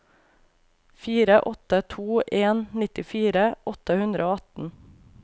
fire åtte to en nittifire åtte hundre og atten